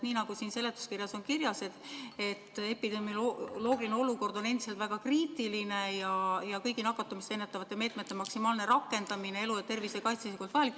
Nii nagu siin seletuskirjas ka kirjas on, epidemioloogiline olukord on endiselt väga kriitiline ja kõigi nakatumist ennetavate meetmete maksimaalne rakendamine elu ja tervise kaitsmiseks on vajalik.